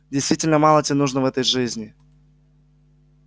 действительно мало тебе нужно в этой жизни